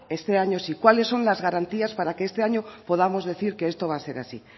este año sí cuáles son las garantías para que este año podamos decir que esto va a ser así